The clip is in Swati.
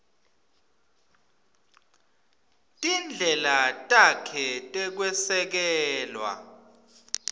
tindlela takhe tekwesekela